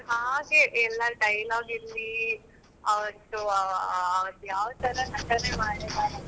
ಹಾಗೆ ಎಲ್ಲ dialogue ಇರ್ಲಿ ಅವರ್ದು ಅವರ್ದು ಯಾವ ತರ ನಟನೆ ಮಾಡಿದ್ದಾರೆ.